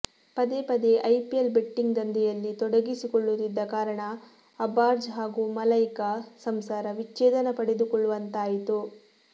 ಪದೇ ಪದೇ IPL betting ದಂಧೆಯಲ್ಲಿ ತೊಡಗಿಸಿಕೊಳ್ಳುತ್ತಿದ್ದ ಕಾರಣ ಅರ್ಬಾಜ್ ಹಾಗೂ ಮಲೈಕಾ ಸಂಸಾರ ವಿಚ್ಚೇಧನ ಪಡೆದುಕೊಳ್ಳುವಂತಾಯಿತು